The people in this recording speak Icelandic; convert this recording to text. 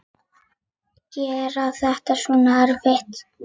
Gera þetta svona erfitt.